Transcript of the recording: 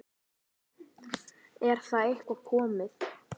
Er það eitthvað komið?